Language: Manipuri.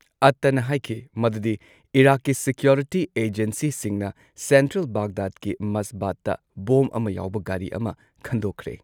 ꯑꯠꯇꯅ ꯍꯥꯏꯈꯤ ꯃꯗꯨꯗꯤ ꯏꯔꯥꯛꯀꯤ ꯁꯦꯀ꯭ꯌꯨꯔꯤꯇꯤ ꯑꯦꯖꯦꯟꯁꯤꯁꯤꯡꯅ ꯁꯦꯟꯇ꯭ꯔꯦꯜ ꯕꯥꯒꯗꯥꯗꯀꯤ ꯃꯁꯕꯥꯗ ꯕꯣꯝ ꯑꯃꯥ ꯌꯥꯎꯕ ꯒꯥꯔꯤ ꯑꯃꯥ ꯈꯟꯗꯣꯛꯈ꯭ꯔꯦ꯫